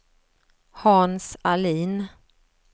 Hans Ahlin